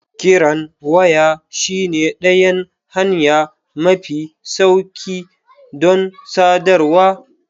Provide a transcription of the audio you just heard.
Kiran waya shine ɗayan hanya mafi sauƙi don sadarwa.